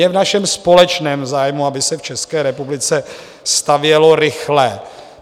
Je v našem společném zájmu, aby se v České republice stavělo rychle.